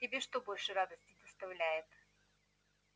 тебе что больше радости доставляет